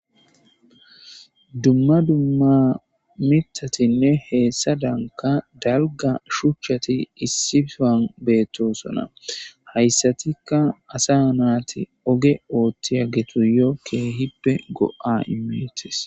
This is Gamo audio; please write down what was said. Dumma dumma miththatinne hessadankka hessadankka dalgga shuchchati issi sohuwan beetosona. Hayssatikka asa naati oge oothiyagetuyo keehippe go'a immeetees.